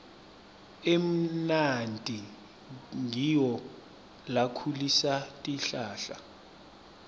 emanti ngiwo lakhulisa tihlahla